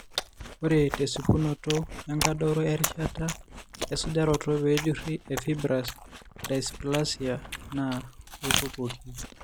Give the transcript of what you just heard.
Ore tesipunoto, enkadoro erishata esujaroto peejuri eFibrous dysplasia naa eikokuoki.